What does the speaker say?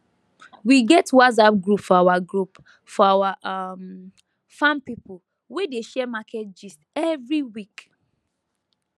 we get whatsapp group for our group for our um farm people wey dey share market gist every week